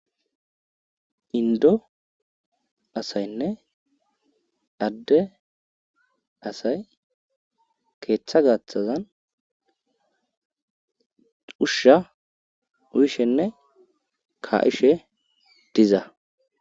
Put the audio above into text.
indo asaynne adde asay keeththa gaaththazan ushsha uyishenne ka'ishe diza